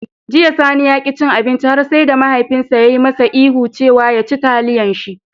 Jiya, Sani ya ƙi ya ci abinci har sai da mahaifinsa ya yi masa ihu cewa "ya ci taliyan shi"